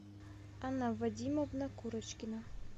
анна вадимовна курочкина